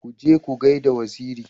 Ku je ku gaida Wazairi.